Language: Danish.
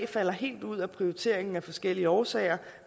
falder helt ud af prioriteringen af forskellige årsager